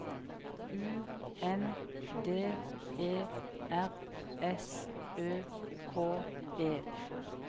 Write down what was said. U N D E R S Ø K E